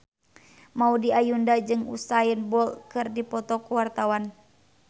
Maudy Ayunda jeung Usain Bolt keur dipoto ku wartawan